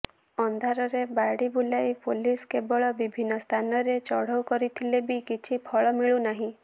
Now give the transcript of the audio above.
ଅନ୍ଧାରରେ ବାଡ଼ି ବୁଲାଇ ପୁଲିସ କେବଳ ବିଭିନ୍ନ ସ୍ଥାନରେ ଚଢ଼ଉ କରୁଥିଲେ ବି କିଛି ଫଳ ମିଳୁନାହିଁ